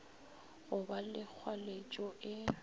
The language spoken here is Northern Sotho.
go ba le kgwaletšo e